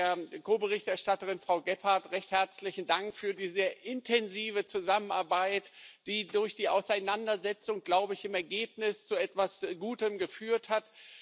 Und der Ko Berichterstatterin Frau Gebhardt recht herzlichen Dank für die sehr intensive Zusammenarbeit, die durch die Auseinandersetzung im Ergebnis zu etwas Gutem geführt hat.